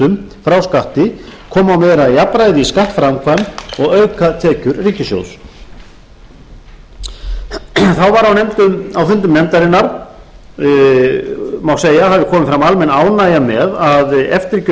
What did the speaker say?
frá skatti koma á meira jafnræði í skattframkvæmd og auka tekjur ríkissjóðs þá má á fundum nefndarinnar segja að hafi komið fram almenn ánægja með að eftirgjöf